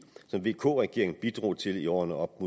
som vk regeringen bidrog til i årene op